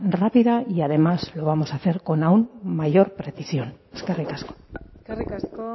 rápida y además lo vamos a hacer con aun mayor precisión eskerrik asko eskerrik asko